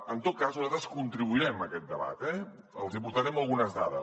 en tot cas nosaltres contribuirem en aquest debat eh els hi aportarem algunes dades